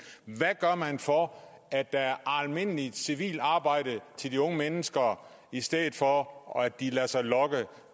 hvad gør man for at der er almindeligt civilt arbejde til de unge mennesker i stedet for at de lader sig lokke